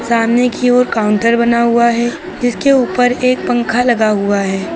सामने की ओर काउंटर बना हुआ है जिसके ऊपर एक पंखा लगा हुआ है।